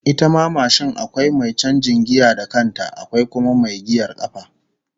Ita ma mashin akwai mai canjin giya da kanta, akwai kuma mai giyar kafa